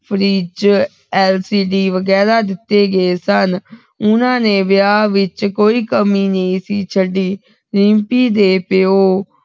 Fridge c. ।. d ਵਗੈਰਾ ਦਿੱਤੇ ਗਏ ਸਨ ਉਹਨਾਂ ਨੇ ਵਿਆਹ ਵਿਚ ਕੋਈ ਕਮੀ ਨਹੀਂ ਸੀ ਛੱਡੀ ਰਿੰਪੀ ਦੇ ਪੀਓ